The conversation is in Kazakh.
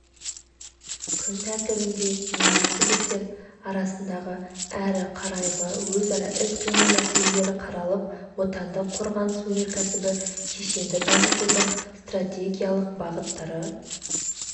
күн тәртібінде министрліктер арасындағы әрі қарайғы өзара іс-қимыл мәселелері қаралып отандық қорғаныс-өнеркәсібі кешенін дамытудың стратегиялық бағыттары